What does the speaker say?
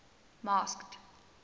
masked